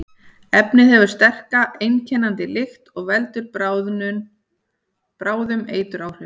Efnið hefur sterka, einkennandi lykt og veldur bráðum eituráhrifum.